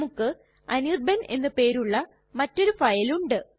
നമുക്ക് അനിർബാൻ എന്ന് പേരുള്ള മറ്റൊരു ഫയൽ ഉണ്ട്